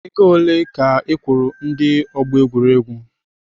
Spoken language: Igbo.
Ego ole ka ị kwụrụ ndi ọgbọ egwuregwu?